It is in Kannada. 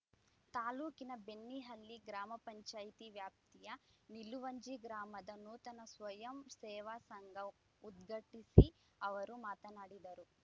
ತಾಲೂಕಿನ ಬೆಣ್ಣಿಹಳ್ಳಿ ಗ್ರಾಮ ಪಂಚಾಯಿತಿ ವ್ಯಾಪ್ತಿಯ ನಿಲುವಂಜಿ ಗ್ರಾಮದ ನೂತನ ಸ್ವಯಂ ಸೇವಾ ಸಂಘ ಉದ್ಘಾಟಿಸಿ ಅವರು ಮಾತನಾಡಿದರು